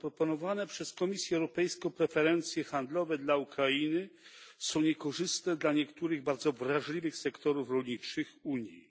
Zaproponowane przez Komisję Europejską preferencje handlowe dla Ukrainy są niekorzystne dla niektórych bardzo wrażliwych sektorów rolniczych Unii.